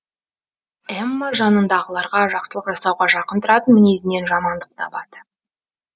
эмма жанындағыларға жақсылық жасауға жақын тұратын мінезінен жамандық табады